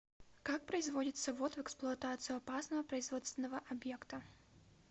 как производится ввод в эксплуатацию опасного производственного объекта